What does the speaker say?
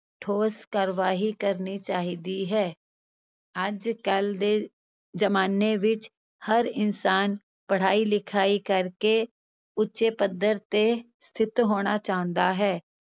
ਠੋਸ ਕਾਰਵਾਈ ਕਰਨੀ ਚਾਹੀਦੀ ਹੈ, ਅੱਜ ਕੱਲ੍ਹ ਦੇ ਜ਼ਮਾਨੇ ਵਿੱਚ ਹਰ ਇਨਸਾਨ ਪੜ੍ਹਾਈ ਲਿਖਾਈ ਕਰਕੇ ਉੱਚੇ ਪੱਧਰ ਤੇ ਸਥਿੱਤ ਹੋਣਾ ਚਾਹੁੰਦਾ ਹੈ,